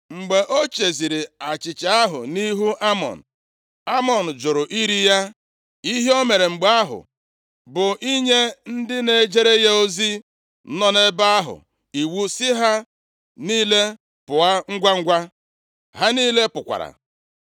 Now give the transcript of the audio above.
Mgbe o cheziri achịcha ahụ nʼihu Amnọn, Amnọn jụrụ iri ya. Ihe o mere mgbe ahụ bụ inye ndị na-ejere ya ozi nọ nʼebe ahụ iwu sị ha niile pụọ ngwangwa. Ha niile pụkwara.